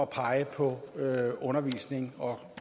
pege på undervisning og